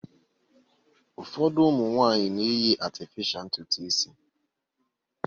Ụfọdụ ụmụ nwaanyị na-eyi atịfịsha ntutu isi.